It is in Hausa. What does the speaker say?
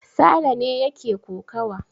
Sale ne yake kokawa.